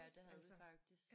Ja det havde vi faktisk